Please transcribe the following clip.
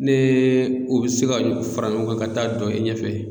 Nee o be se ka fara ɲɔgɔn kan ka taa dɔn e ɲɛfɛ